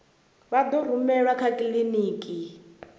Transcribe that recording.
vha ḓo rumelwa kha kiḽiniki